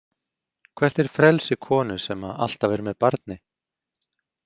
Hvert er frelsi konu sem alltaf er með barni?